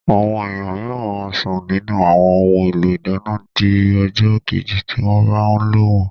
Àwọn èèyàn mìíràn máa sún nínù àwọn ohun èlò ìdáná di ọjọ́ kejì tí wọ́n bá lò wọ́n